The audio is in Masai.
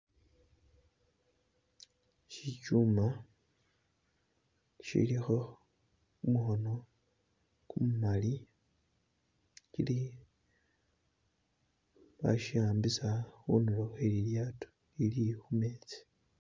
Ishi shichuma ishilikho gumukhono gumumali shili bashihambisa khunduro khwelilyato lili khumetsi.